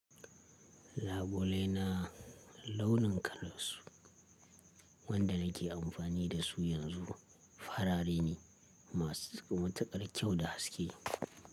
Labulai na launin kalarsu wanda nake amfani da su yanzu farare ne, masu matuƙar kyau da haske.